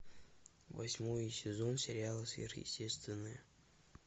восьмой сезон сериала сверхъестественное